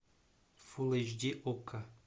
фул эйч ди окко